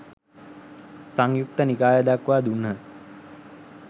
සංයුක්ත නිකාය දක්වා දුන්හ